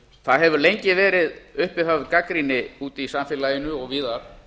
það hefur lengi verið uppi höfð gagnrýni úti í samfélaginu og víðar